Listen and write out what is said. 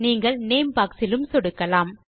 நீங்கள் name box இலும் சொடுக்கலாம்